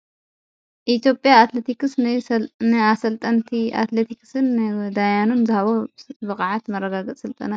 ኢትዮጵያ ኣትለቲክስ ናይ ኣሠልጠንቲ ኣትለቲክስን ዳያኑን ዝሃቦ ብቓዓት መረጋግጽ ሥልጠና አዩ::